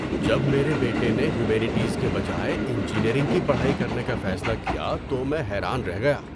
جب میرے بیٹے نے ہیومینٹیز کے بجائے انجینئرنگ کی پڑھائی کرنے کا فیصلہ کیا تو میں حیران رہ گیا۔